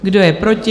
Kdo je proti?